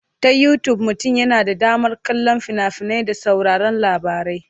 Ta Yutub mutum yana da damar kallon fina-finai da sauraron labarai.